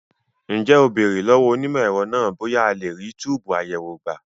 Ǹjẹ́ o béèrè lọ́wọ́ onímọ̀ ẹ̀rọ náà bóyá a lè rí túbùù àyẹ̀wò gbà?